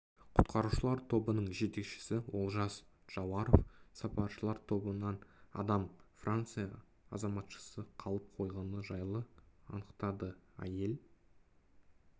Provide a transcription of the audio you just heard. құтқарушылар тобының жетекшісі олжас джауаров сапаршылар тобынан адам франция азаматшасы қалып қойғаны жайлы анықтады әйел